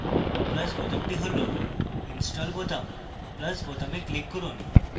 plus বোতামটি হল install বোতাম plus বোতামে click করুন